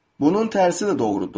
Bunun tərsi də doğrudur.